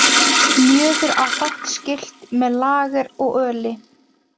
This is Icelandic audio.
Mjöður á fátt skylt með lager og öli.